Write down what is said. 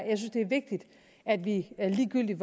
vigtigt at vi ligegyldigt